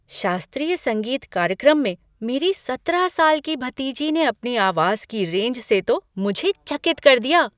शास्त्रीय संगीत कार्यक्रम में मेरी सत्रह साल की भतीजी ने अपनी आवाज़ की रेंज से तो मुझे चकित कर दिया।